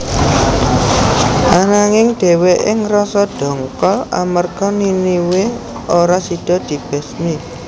Ananging dhèwèké ngrasa ndongkol amarga Niniwe ora sida dibesmi